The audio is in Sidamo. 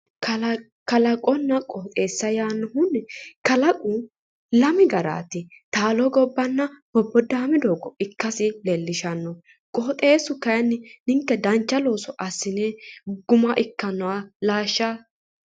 Kalaqonna qoxxeessa yaannohuni ,kalaqu lame garati taalo gobbanna boboodame gobba ikkasi leelishano ,qoxxeesu kayinni ninke dancha looso assine guma ikkanoha laashsha.